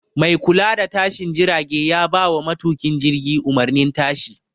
Mai kula da tashin jirage ya bawa matuƙin jirgi umarnin tashi